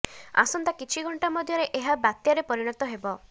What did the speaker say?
ଆସନ୍ତା କିଛି ଘଣ୍ଟା ମଧ୍ୟରେ ଏହା ବାତ୍ୟାରେ ପରିଣତ ହେବ